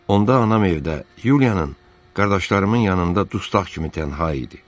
Onda anam evdə Yuliyanın, qardaşlarımın yanında dustaq kimi tənha idi.